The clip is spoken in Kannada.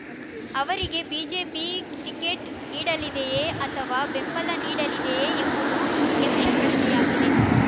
ಅವರಿಗೆ ಬಿಜೆಪಿ ಟಿಕೆಟ್ ನೀಡಲಿದೆಯೇ ಅಥವಾ ಬೆಂಬಲ ನೀಡಲಿದೆಯೇ ಎಂಬುದು ಯಕ್ಷಪ್ರಶ್ನೆಯಾಗಿದೆ